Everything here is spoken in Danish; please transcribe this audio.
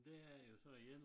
Det er jo så igen